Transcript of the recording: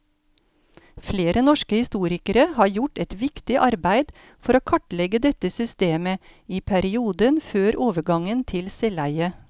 Flere norske historikere har gjort et viktig arbeid for å kartlegge dette systemet i perioden før overgangen til selveie.